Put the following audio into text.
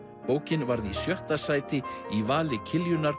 bókin varð í sjötta sæti í vali